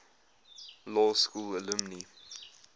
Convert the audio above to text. law school alumni